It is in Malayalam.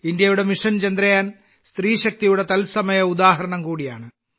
ഇന്ത്യയുടെ മിഷൻ ചന്ദ്രയാൻ സ്ത്രീശക്തിയുടെ തത്സമയ ഉദാഹരണം കൂടിയാണ്